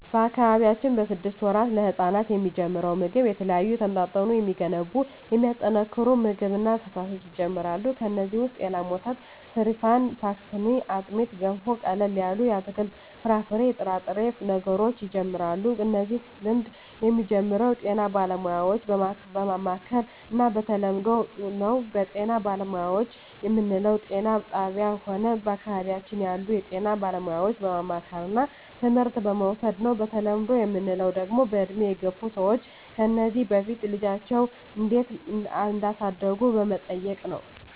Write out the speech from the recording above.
በአካባቢያችን ስድስት ወራት ለህጻናት የሚጀምረው ምግብ የተለያዩ የተመጣጠኑ የሚገነቡ የሚያጠናክሩ ምግብ እና ፈሣሾች ይጀመራሉ ከዚ ውሰጥ የላም ወተት ሰሪፋን ፓሥትኒ አጥሜት ገንፎ ቀለል ያሉ የአትክልት የፍራፍሬ የጥሬ ነገሮች ይጀምራሉ እነዚህ ልምድ የሚጀምረው ጤና ባለሙያዎች በማማከር እና በተለምዶው ነው በጤና ባለሙያዎች ምንለው ጤና ጣብያ ሆነ በአካባቢያችን ያሉ የጤና ባለሙያዎች በማማከርና ትምህርት በመዉሰድ ነው በተለምዶ ምንለው ደግሞ በእድሜ የገፍ ሰዎች ከዚ በፊት ልጃቸው እንዴት እዳሳደጉ በመጠየቅ ነው